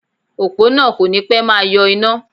Òpó náà kò ní pẹ́ máa yọ iná